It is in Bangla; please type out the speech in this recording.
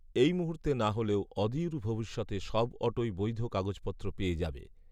এই মুহূর্তে না হলেও অদূর ভবিষ্যতে সব অটোই বৈধ কাগজপত্র পেয়ে যাবে